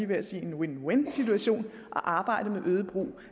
ved sige en win win situation at arbejde med øget brug